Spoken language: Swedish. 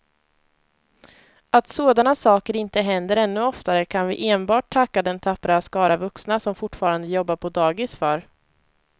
Att sådana saker inte händer ännu oftare kan vi enbart tacka den tappra skara vuxna som fortfarande jobbar på dagis för.